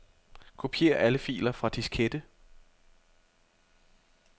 Kopier alle filer fra diskette.